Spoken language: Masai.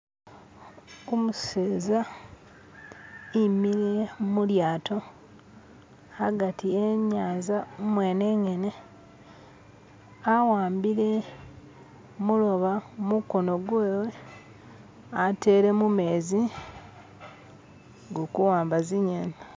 Kumuseza imiliya mulyato hagati ye nyanza umwene engene awambile muloba mukono gwewe atele mumezi gukuwamba zi ngeni.